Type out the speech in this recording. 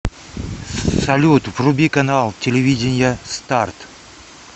салют вруби канал телевидения старт